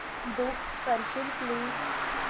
book करशील please